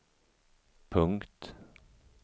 punkt